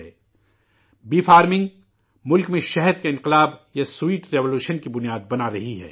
شہد کی مکھی کی زراعت ملک میں شہد کرانتی یا شیریں انقلاب کی بنیاد بنا رہی ہے